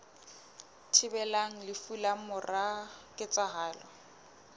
thibelang lefu ka mora ketsahalo